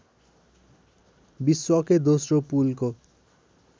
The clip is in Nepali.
विश्वकै दोस्रो पुलको